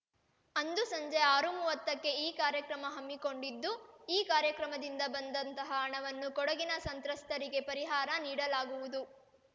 ಅಂದು ಸಂಜೆ ಆರು ಮೂವತಕ್ಕೆ ಈ ಕಾರ್ಯಕ್ರಮ ಹಮ್ಮಿಕೊಂಡಿದ್ದು ಈ ಕಾರ್ಯಕ್ರಮದಿಂದ ಬಂದಂತಹ ಹಣವನ್ನು ಕೊಡಗಿನ ಸಂತ್ರಸ್ಥರಿಗೆ ಪರಿಹಾರ ನೀಡಲಾಗುವುದು